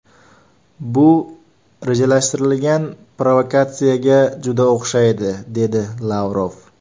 Bu rejalashtirilgan provokatsiyaga juda o‘xshaydi”, dedi Lavrov.